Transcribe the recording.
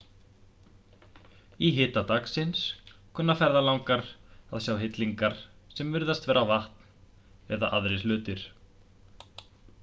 í hita dagsins kunna ferðalangar að sjá hillingar sem virðast vera vatn eða aðrir hlutir